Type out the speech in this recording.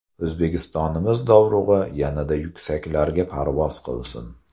O‘zbekistonimiz dovrug‘i yanada yuksaklarga parvoz qilsin.